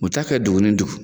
U bi taa kɛ